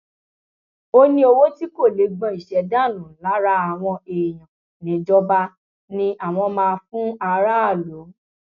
ó ní owó tí kò lè gbọn iṣẹ dànù lára àwọn èèyàn níjọba ni àwọn máa fún aráàlú